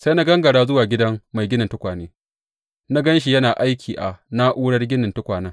Sai na gangara zuwa gidan mai ginin tukwane, na gan shi yana aiki a na’urar ginin tukwanen.